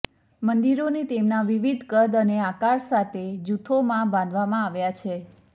મંદિરોને તેમના વિવિધ કદ અને આકાર સાથે જૂથોમાં બાંધવામાં આવ્યા છે